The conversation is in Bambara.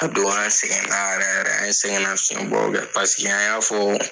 A don an sɛgɛn na yɛrɛ yɛrɛ an sɛgɛn nafiɲɛbɔw kɛ paseke an y'a fɔ